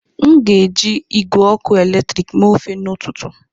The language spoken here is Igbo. M ga-eji igwe ọkụ eletrik mee ofe n'ụtụtụ.